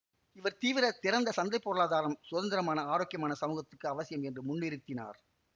இவர் தீவிர திறந்த சந்தை பொருளாதாரம் சுதந்திரமான ஆரோக்கியமான சமூகத்துக்கு அவசியம் என்று முன்னிறுத்தினார்